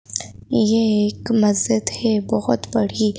यह एक मस्जिद है बहुत बड़ी।